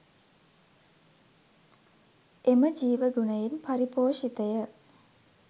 එම ජීවගුණයෙන් පරිපෝෂිතය.